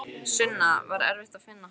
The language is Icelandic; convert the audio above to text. Sunna: Var erfitt að finna hann?